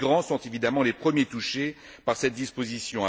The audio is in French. Les migrants sont, évidemment, les premiers touchés par cette disposition.